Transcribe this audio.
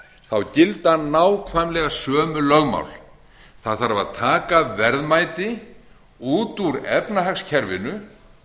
þá gilda nákvæmlega sömu lögmál það þarf að taka verðmæti út úr efnahagskerfinu